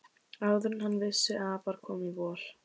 Áður en hann vissi af var komið vor.